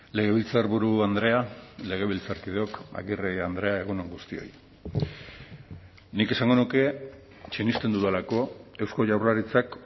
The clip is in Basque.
legebiltzarburu andrea legebiltzarkideok agirre andrea egun on guztioi nik esango nuke sinesten dudalako eusko jaurlaritzak